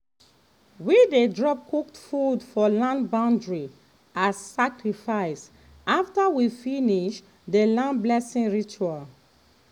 we dey drop cooked food for land boundary as sacrifice after we finish the land blessing ritual.